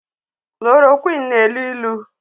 Kololoroqini na-elu ilu